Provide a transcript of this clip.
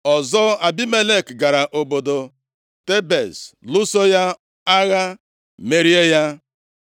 Ọzọ, Abimelek gara obodo Tebez lụso ya agha, merie ya.